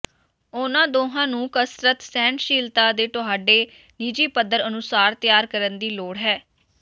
ਉਨ੍ਹਾਂ ਦੋਹਾਂ ਨੂੰ ਕਸਰਤ ਸਹਿਣਸ਼ੀਲਤਾ ਦੇ ਤੁਹਾਡੇ ਨਿੱਜੀ ਪੱਧਰ ਅਨੁਸਾਰ ਤਿਆਰ ਕਰਨ ਦੀ ਲੋੜ ਹੈ